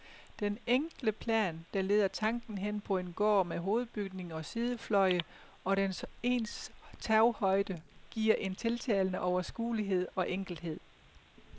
Den enkle plan, der leder tanken hen på en gård med hovedbygning og sidefløje, og den ens taghøjde giver en tiltalende overskuelighed og enkelhed.